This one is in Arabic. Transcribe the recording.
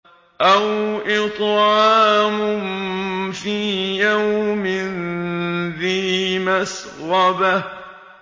أَوْ إِطْعَامٌ فِي يَوْمٍ ذِي مَسْغَبَةٍ